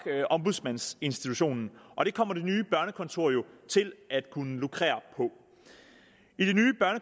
ombudsmandsinstitutionen og det kommer det nye børnekontor jo til at kunne lukrere